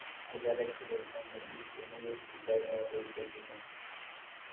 ആൾക്കാര് രക്ഷപ്പെടുന്നു യുട്യൂബും ഫേസ്ബുക്കും ആയിട്ട്